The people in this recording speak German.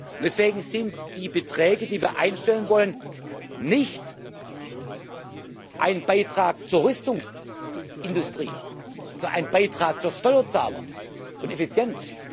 Und deswegen sind die Beträge, die wir einstellen wollen, nicht ein Beitrag zur Rüstungsindustrie, sondern ein Beitrag für Steuerzahler und Effizienz.